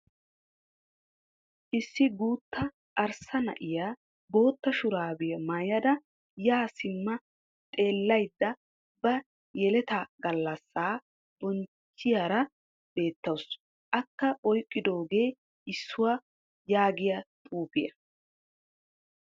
Issi guutta arssa na'iya bootta shuraabiya mayyada yaa simma xeellayidda ba yeleta gallassaa bonchchiyaara beettawusu. Akka oyiqqidoogee "issuwa" yaagiya xuufiya.